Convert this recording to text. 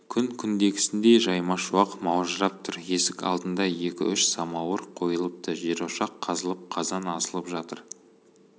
күн күндегісіндей жаймашуақ маужырап тұр есік алдында екі-үш самауыр қойылыпты жерошақ қазылып қазан асылып жатыр